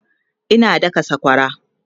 Ina daka sakwara